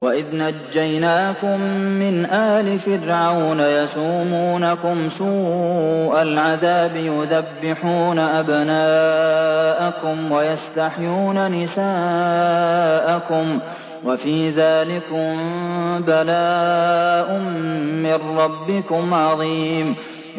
وَإِذْ نَجَّيْنَاكُم مِّنْ آلِ فِرْعَوْنَ يَسُومُونَكُمْ سُوءَ الْعَذَابِ يُذَبِّحُونَ أَبْنَاءَكُمْ وَيَسْتَحْيُونَ نِسَاءَكُمْ ۚ وَفِي ذَٰلِكُم بَلَاءٌ مِّن رَّبِّكُمْ عَظِيمٌ